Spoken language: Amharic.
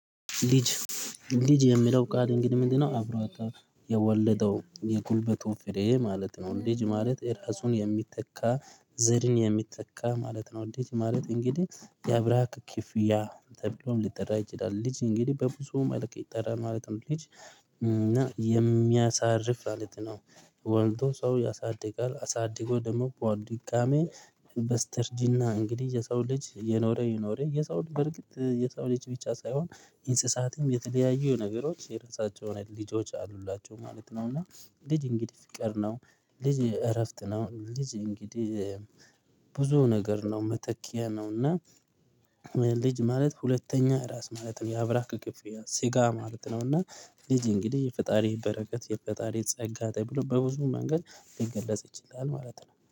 ልጅ ልጅ የምለው ቃል እንግዲህ ምንድነው አብሮ የወለደው የጉልበቱ ፍሬ ማለት ነው። ልጅ ማለት የራሱን የሚተካ ዘርን የሚተካ ማለት ነው። ልጅ ማለት እንግዲህ የአብራክ ክፍያ ተብሎም ሊጠራ ይችላል። ልጅ እንግዲህ በብዙም መልክ ይጠራል ማለትም ልጅ እና የሚያሳርፍ ማለት ነው። ወልዶ ሰው ያሳድጋል አሳድጎ ደግሞ በድጋሜ በስተርጂና እንግዲህ የሰው ልጅ እየኖረ እየኖረ የሰው በርግጥ የሰው ልጅ ብቻ ሳይሆን እንስሳትም የተለያዩ ነገሮች የራሳቸው የሆነ ልጆች አሉላቸው ማለት ነው። እና ልጅ እንግዲህ ፍቅር ነው። ልጅ እረፍት ነው። ልጅ እንግዲህ ብዙ ነገር ነው መተኪያ ነው። እና ልጅ ማለት ሁለተኛ ራስ ማለት ነው። የአብራክ ክፍያ ስጋ ማለት ነው። እና ልጅ እንግዲህ የፈጣሪ በረከት የፈጣሪ ጸጋ ተብሎ በብዙ መንገድ ሊገለጽ ይችላል ማለት ነው